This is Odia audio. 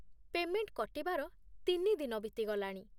ପେ'ମେଣ୍ଟ କଟିବାର ତିନି ଦିନ ବିତିଗଲାଣି ।